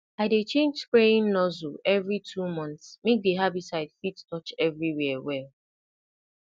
i dey change spraying nozzle every two months make di herbicide fit touch everywhere well